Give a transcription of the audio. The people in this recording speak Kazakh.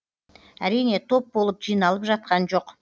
әрине топ болып жиналып жатқан жоқ